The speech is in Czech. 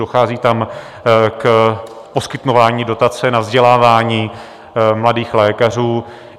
Dochází tam k poskytování dotace na vzdělávání mladých lékařů.